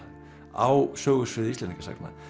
á sögusviði Íslendingasagna